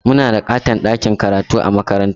Muna da ƙaton ɗakin karatu a makarantarmu.